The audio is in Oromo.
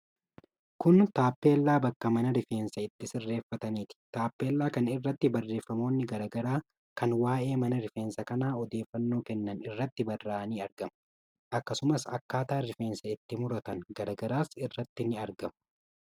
Kun taappellaa bakka mana rifeensa itti sirreeffataniiti. Taappellaa kana irratti barreeffamoonni garaa garaa kan waa'ee mana rifeensaa kanaa odeeffannoo kennan irratti barraa'anii argamu. Akkasumas akkaataan rifeensa itti muratan garaa garaas irratti ni argamu.